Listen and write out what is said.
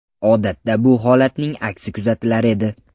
Odatda bu holatning aksi kuzatilar edi.